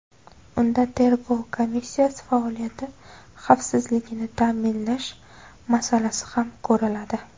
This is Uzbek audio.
Unda tergov komissiyasi faoliyati xavfsizligini ta’minlash masalasi ham ko‘riladi.